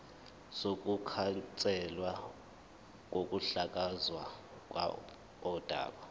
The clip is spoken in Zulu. sokukhanselwa kokuhlakazwa kodaba